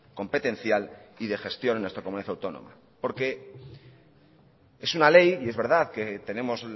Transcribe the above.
competencial y de gestión en nuestra comunidad autónoma porque es una ley y es verdad que tenemos